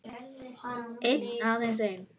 Einn, aðeins einn